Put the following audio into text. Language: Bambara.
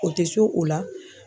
O tɛ s'o la.